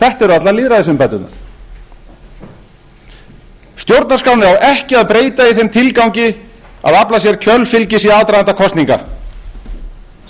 þetta eru allar lýðræðisumbæturnar stjórnarskránni á ekki að breyta í þeim tilgangi að afla sér kjörfylgis í aðdraganda kosninga